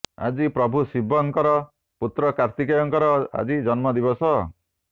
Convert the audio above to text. ଆଜି ପ୍ରଭୁ ଶିବଙ୍କର ପୁତ୍ର କାର୍ତ୍ତିକେୟଙ୍କର ଆଜି ଜନ୍ମ ଦିବସ